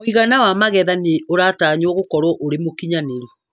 Mũigana wa magetha nĩ ũratanywo gũkorwo ũrĩ mũkinyanĩru.